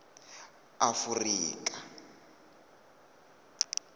afurika